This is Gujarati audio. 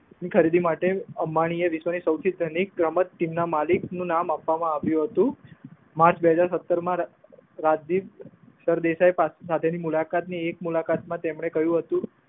ની ખરીદી માટે અંબાણીએ વિશ્વની સૌથી ધનિક ગમત ટીમના માલિકનું નામ આપવામાં આવ્યું હતું. માર્ચ બે હજાર સત્તરમા રાજદીપ સર દેસાઈ સાથેની મુલાકાત ની એક મુલાકાતમાં તેમને કહ્યું હતું.